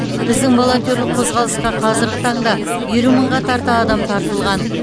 іздің волонтерлік қозғалысқа қазіргі таңда елу мыңға тарта адам тартылған